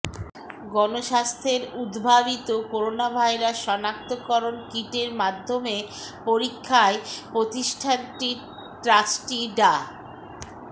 গণস্বাস্থ্যের উদ্ভাবিত করোনাভাইরাস শনাক্তকরণ কিটের মাধ্যমে পরীক্ষায় প্রতিষ্ঠানটির ট্রাস্টি ডা